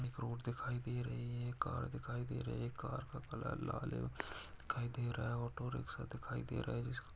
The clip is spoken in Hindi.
एक रोड दिखाई दे रही है एक कार दिखाई दे रही है कार का कलर लाल है और ऑटो रिक्शा दिखाई दे रहा है।